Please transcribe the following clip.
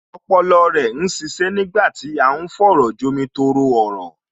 Ọpọlọ rẹ ń ṣiṣẹ́ nígbà tí à ń fọ̀rọ̀jomi-tooro-ọ̀rọ̀